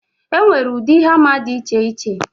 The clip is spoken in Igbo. E nwere ụdị hama dị iche iche